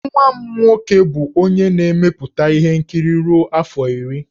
Nwa m nwoke bụ onye na-emepụta ihe nkiri ruo afọ iri.